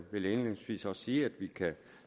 vil jeg indledningsvis også sige at vi kan